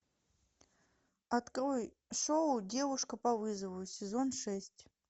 открой шоу девушка по вызову сезон шесть